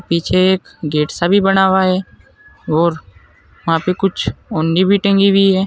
पीछे गेट सा बना हुआ है और वहां पे कुछ ओढ़नी भी टंगी हुई है।